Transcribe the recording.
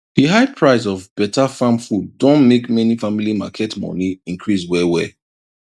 di high price of betterfarm food don make many family market money increase wellwell